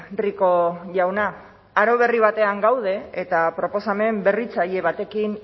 rico jauna aro berri batean gaude eta proposamen berritzaile batekin